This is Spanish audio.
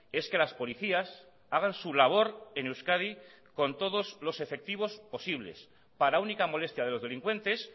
es que las policías hagan su labor en euskadi con todos los efectivos posibles para única molestia de los delincuentes